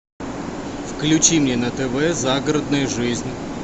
включи мне на тв загородная жизнь